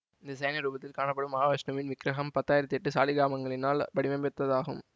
இந்த சயன ரூபத்தில் காணப்படும் மகா விஷ்ணுவின் விக்ரகம் பத்தாயிரத்தி எட்டு சாலிக்கிராமங்களினால் வடிவமைத்ததாகும்